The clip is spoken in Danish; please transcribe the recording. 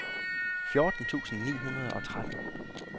fjorten tusind ni hundrede og tretten